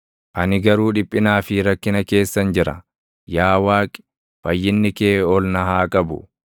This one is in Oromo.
Ani garuu dhiphinaa fi rakkina keessan jira; yaa Waaqi, fayyinni kee ol na haa qabu.